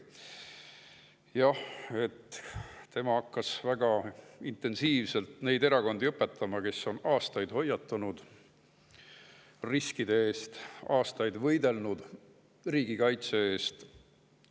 Jah, tema hakkas väga intensiivselt õpetama neid erakondi, kes on aastaid hoiatanud riskide eest, aastaid võidelnud riigikaitse eest.